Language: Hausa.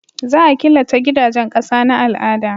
Za a killace gidajen ƙasa na al'ada